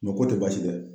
ko tɛ basi ye dɛ